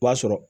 O b'a sɔrɔ